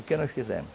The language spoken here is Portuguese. O que nós fizemos?